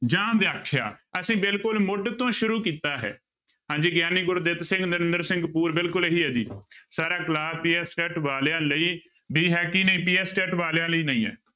ਜਾਂ ਵਿਆਖਿਆ, ਅਸੀਂ ਬਿਲਕੁਲ ਮੁੱਢ ਤੋਂ ਸ਼ੁਰੂ ਕੀਤਾ ਹੈ, ਹਾਂਜੀ ਗਿਆਨੀ ਗੁਰਦਿੱਤ ਸਿੰਘ, ਨਰਿੰਦਰ ਸਿੰਘ ਕਪੂਰ ਬਿਲਕੁਲ ਇਹੀ ਹੈ ਜੀ ਸਰ ਆਹ class PSTET ਵਾਲਿਆਂ ਲਈ ਵੀ ਹੈ ਕੀ ਨਹੀਂ PSTET ਵਾਲਿਆਂ ਲਈ ਨਹੀਂ ਹੈ।